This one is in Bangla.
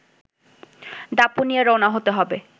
দাপুনিয়া রওনা হতে হবে